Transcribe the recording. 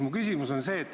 Mu küsimus on see.